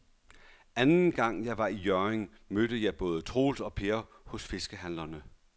Anden gang jeg var i Hjørring, mødte jeg både Troels og Per hos fiskehandlerne.